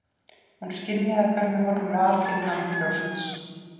Hún skynjaði hvernig honum var innanbrjósts!